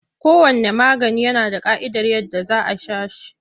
Kowanne magani yana da ƙa'idar yadda za a sha shi.